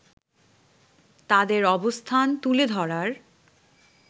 তাদের অবস্থান তুলে ধরার